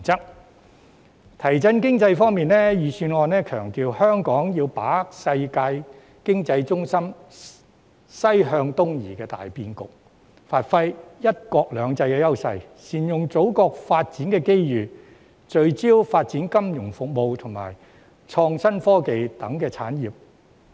在提振經濟方面，預算案強調香港要把握世界經濟重心"西向東移"的大變局，發揮"一國兩制"的優勢，善用祖國的發展機遇，聚焦發展金融服務及創新科技等產業。